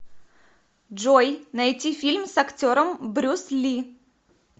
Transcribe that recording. джой найти фильм с актером брюс ли